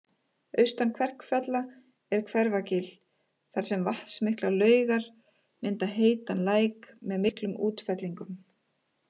Austan Kverkfjalla er Hveragil þar sem vatnsmiklar laugar mynda heitan læk með miklum útfellingum